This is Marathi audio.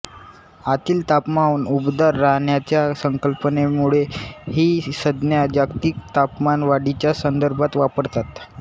आतील तापमान उबदार राहण्याच्या संकल्पनेमुळे ही संज्ञा जागतिक तापमान वाढीच्या संदर्भात वापरतात